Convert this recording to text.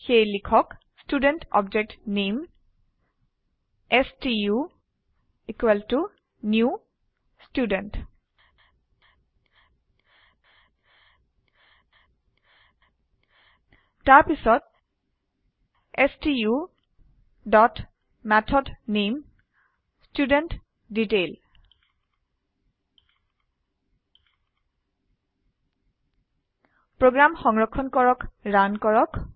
সেয়ে লিখক student object name stu equal to new student তাৰপিছত stu dot method name student detail program সংৰক্ষণ কৰক ৰান কৰক